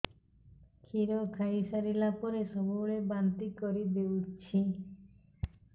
କ୍ଷୀର ଖାଇସାରିଲା ପରେ ସବୁବେଳେ ବାନ୍ତି କରିଦେଉଛି